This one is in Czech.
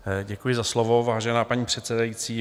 Děkuji za slovo, vážená paní předsedající.